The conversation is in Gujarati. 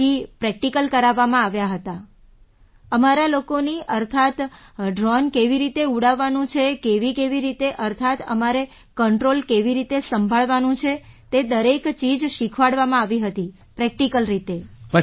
પછી પ્રૅક્ટિકલ કરાવવામાં આવ્યા હતા અમારા લોકોના અર્થાત્ ડ્રૉન કેવી રીતે ઉડાવવાનું છે કેવીકેવી રીતે અર્થાત્ તમારે કંટ્રૉલ કેવી રીતે સંભાળવાનું છે દરેક ચીજ શીખવાડવામાં આવી હતી પ્રૅક્ટિકલ રીતે